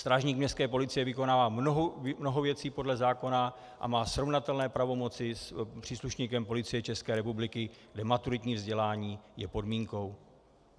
Strážník městské policie vykonává mnoho věcí podle zákona a má srovnatelné pravomoci s příslušníkem Policie České republiky, kde maturitní vzdělání je podmínkou.